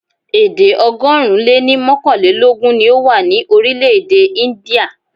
Èdè ọgọ́rùn-ún lé ní mọ́kànlélógún ni ó wà ní orílẹ̀-èdè India.